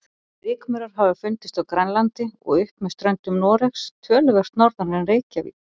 Rykmaurar hafa fundist á Grænlandi og upp með ströndum Noregs, töluvert norðar en Reykjavík.